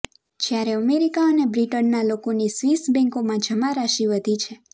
જ્યારે અમેરિકા અને બ્રિટનના લોકોની સ્વિસ બેંકોમાં જમા રાશિ વધી છે